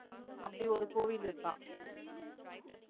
அப்படி ஒரு கோவில் இருக்காம்